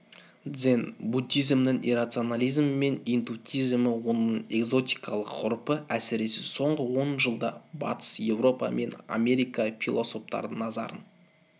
дзен буддизмнің иррационализмі мен интуитивизмі оның экзотикалық ғұрпы әсіресе соңғы он жылда батыс европа және америка философтарының назарын